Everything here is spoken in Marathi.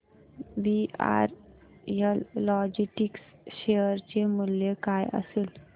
वीआरएल लॉजिस्टिक्स शेअर चे मूल्य काय असेल